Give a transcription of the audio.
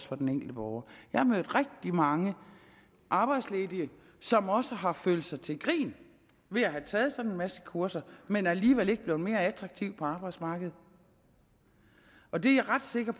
for den enkelte borger jeg har mødt rigtig mange arbejdsledige som også har følt sig til grin ved at have taget sådan en masse kurser men alligevel ikke er blevet mere attraktive på arbejdsmarkedet og det er jeg ret sikker